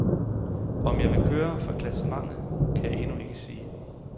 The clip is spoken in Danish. Om jeg vil køre for klassementet, kan jeg endnu ikke sige.